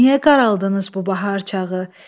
Niyə qaraldınız bu bahar çağı?